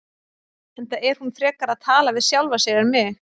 Enda er hún frekar að tala við sjálfa sig en mig.